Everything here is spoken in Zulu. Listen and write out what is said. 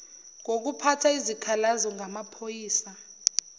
ngokuphatha izikhalazo ngamaphoyisa